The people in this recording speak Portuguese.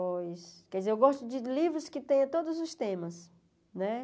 Quer dizer, eu gosto de livros que tenham todos os temas, né?